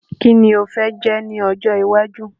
Ki ni o fẹ́ jẹ́ ní ọjọ́ iwájú?